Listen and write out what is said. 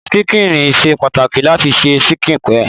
Ṣíkìn ṣe pàtàkì láti se ṣíkìn pie.